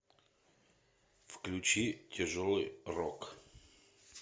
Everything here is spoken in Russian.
включи тяжелый рок